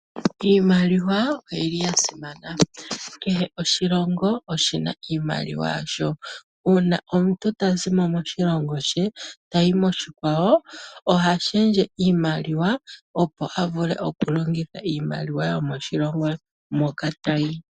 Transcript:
Iimaliwa oyili yasimana. Kehe oshilongo oshina iimaliwa yasho. Uuna omuntu tazi moshilongo she tayi noshikwawo , ohashendje iimaliwa opo avule okulongitha iimaliwa yomoshilongo moka tayi.